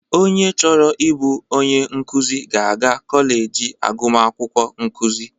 Onye chọrọ ịbụ onye nkụzị ga-aga kọleji agụmakwukwọ nkụzị.